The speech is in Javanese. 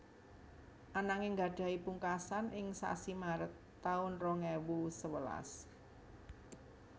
Ananging gadhahi pungkasan ing sasi Maret taun rong ewu sewelas